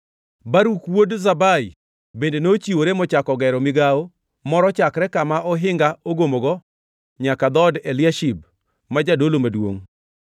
Baruk wuod Zabai bende nochiwore mochako gero migawo moro chakre kama ohinga ogomogo nyaka dhood Eliashib ma jadolo maduongʼ.